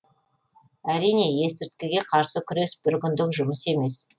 әрине есірткіге қарсы күрес бір күндік жұмыс емес